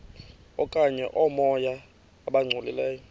okanye oomoya abangcolileyo